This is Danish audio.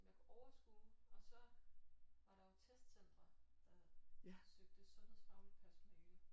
Som jeg kunne overskue og så var der jo testcentre der søgte sundhedsfagligt personale